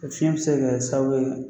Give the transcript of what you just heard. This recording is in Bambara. Fiɲɛ bɛ se ka kɛ sababu ye